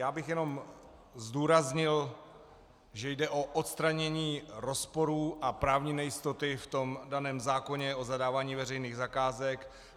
Já bych jenom zdůraznil, že jde o odstranění rozporů a právní nejistoty v tom daném zákoně o zadávání veřejných zakázek.